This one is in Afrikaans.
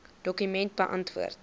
dokument beantwoord